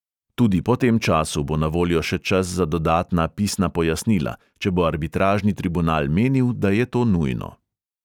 Tudi po tem času bo na voljo še čas za dodatna pisna pojasnila, če bo arbitražni tribunal menil, da je to nujno.